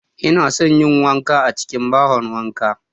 Inason yin wanka a cikin bahon wanka.